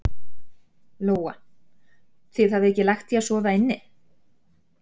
Lóa: Þið hafið ekki lagt í að sofa inni?